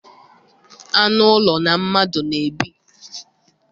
Anụ ụlọ na mmadụ n'ebi.